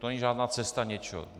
To není žádná cesta něčeho.